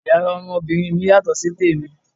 Yàrá ọmọbìnrin mi yàtọ̀ sí tèmi.